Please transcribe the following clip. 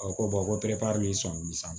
ko ko sisan